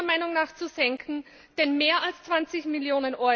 Sie sind meiner Meinung nach zu senken, denn mehr als 20 Mio.